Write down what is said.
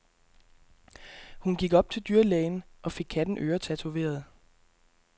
Hun gik op til dyrlægen og fik katten øretatoveret.